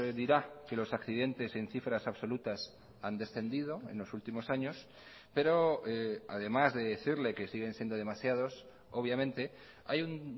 dirá que los accidentes en cifras absolutas han descendido en los últimos años pero además de decirle que siguen siendo demasiados obviamente hay un